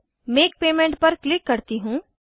make payment पर click करती हूँ